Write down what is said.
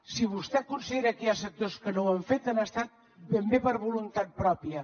si vostè considera que hi ha sectors que no ho han fet han estat ben bé per voluntat pròpia